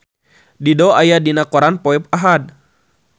Dido aya dina koran poe Ahad